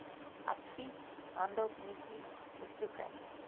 advies handelsmissies besoekend